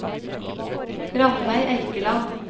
Rannveig Eikeland